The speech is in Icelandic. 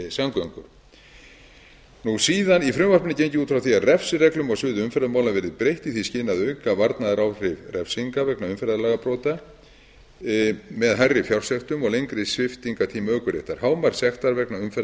almenningssamgöngur í frumvarpinu er gengið út frá því að refsireglum á sviði umferðarmála verði breytt í því skyni að auka varnaðaráhrif refsinga vegna umferðarlagabrota með hærri fjársektum og lengri sviptingartíma ökuréttar hámark sektar vegna umferðar